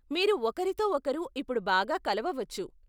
మీరు ఒకరితో ఒకరు ఇప్పుడు బాగా కలవవచ్చు.